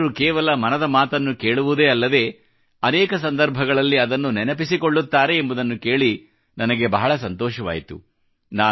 ಜನರು ಕೇವಲ ಮನದ ಮಾತನ್ನು ಕೇಳುವುದೇ ಅಲ್ಲದೆ ಅನೇಕ ಸಂದರ್ಭಗಳಲ್ಲಿ ಅದನ್ನು ನೆನಪಿಸಿಕೊಳ್ಳುತ್ತಾರೆ ಎಂಬುದನ್ನು ಕೇಳಿ ನನಗೆ ಬಹಳ ಸಂತೋಷವಾಯಿತು